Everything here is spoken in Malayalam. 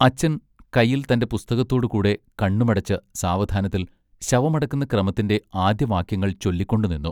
അച്ചൻ കയ്യിൽ തന്റെ പുസ്തകത്തോടു കൂടെ കണ്ണുമടച്ച് സാവധാനത്തിൽ ശവമടക്കുന്ന ക്രമത്തിന്റെ ആദ്യ വാക്യങ്ങൾ ചൊല്ലി കൊണ്ടുനിന്നു.